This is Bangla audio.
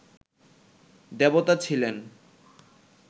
দেবতা ছিলেন